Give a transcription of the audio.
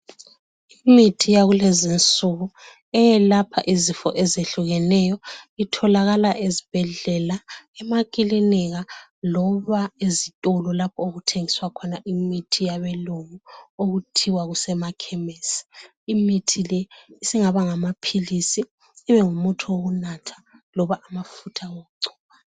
Imithi yakulezi insuku eyelapha izifo ezehlukaneyo itholakala ezibhedlela emakilinika loba ezitolo lapho okuthegiswa khona imithi yabelungu okuthiwa kusemakhemisi. Imithi le isingaba ngamaphilisi, ibengumuthi wokunatha loba amafutha okugcoba.